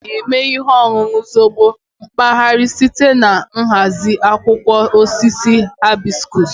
A na-eme ihe ọṅụṅụ zobo mpaghara site na nhazi akwụkwọ osisi hibiscus